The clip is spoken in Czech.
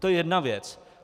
To je jedna věc.